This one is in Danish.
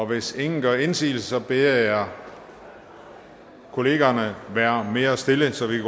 hvis ingen gør indsigelse beder jeg kollegaerne være mere stille så vi